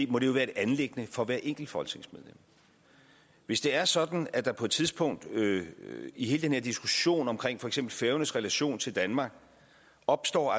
må det være et anliggende for hvert enkelt folketingsmedlem hvis det er sådan at der på et tidspunkt i hele den her diskussion om for eksempel færøernes relation til danmark opstår